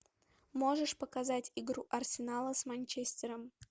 можешь показать игру арсенала с манчестером